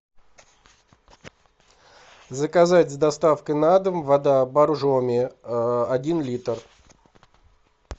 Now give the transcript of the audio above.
заказать с доставкой на дом вода боржоми один литр